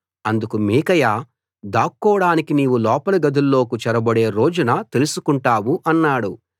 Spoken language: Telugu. అందుకు మీకాయా దాక్కోడానికి నీవు లోపలి గదుల్లోకి చొరబడే రోజున తెలుసుకుంటావు అన్నాడు